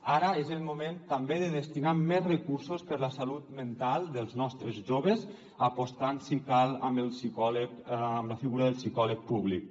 ara és el moment també de destinar més recursos per la salut mental dels nostres joves apostant si cal pel psicòleg per la figura del psicòleg públic